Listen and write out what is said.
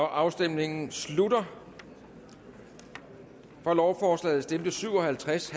afstemningen slutter for lovforslaget stemte syv og halvtreds